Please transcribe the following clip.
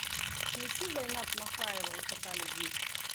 включи зайнаб махаева высота любви